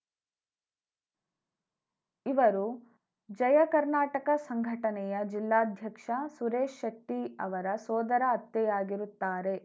ಇವರು ಜಯ ಕರ್ನಾಟಕ ಸಂಘಟನೆಯ ಜಿಲ್ಲಾಧ್ಯಕ್ಷ ಸುರೇಶ್‌ ಶೆಟ್ಟಿಅವರ ಸೋದರ ಅತ್ತೆಯಾಗಿರುತ್ತಾರೆ